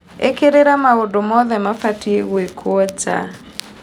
Ĩkĩrĩrĩria maũndũ mothe mabatiĩ gũĩkũo nja.